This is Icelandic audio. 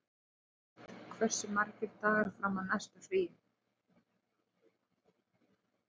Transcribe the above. Sigbert, hversu margir dagar fram að næsta fríi?